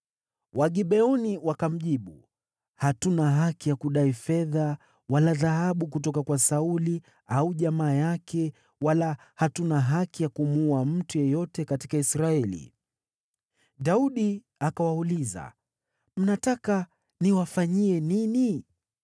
Wagibeoni wakamjibu, “Hatuna haki ya kudai fedha wala dhahabu kutoka kwa Sauli au jamaa yake, wala hatuna haki ya kumuua mtu yeyote katika Israeli.” Daudi akawauliza, “Mnataka niwafanyie nini?”